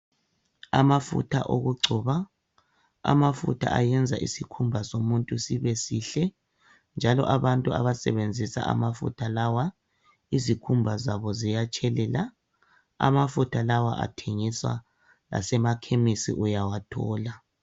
Amafutha okugcoba amafutha ayenza isikhumba sibe butshelezi njalo abantu abasebenzisa amafutha lawa izikhumba zabo ziyatshelela amafutha lawa athengiswa lasemakhemisi uyawathola